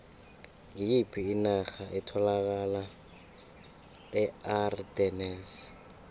ngiyiphi inarha etholakala eardennes